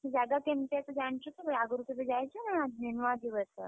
ସେ ଜାଗା କେମିତିକା ତୁ ଜାଣିଛୁ କେବେ ଆଗରୁ କେବେ ଯାଇଛୁ ନା ନୁଆ ଯିବୁ ଏଥରକ?